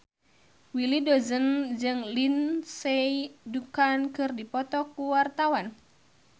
Willy Dozan jeung Lindsay Ducan keur dipoto ku wartawan